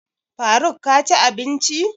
Faruk ka ci abinci?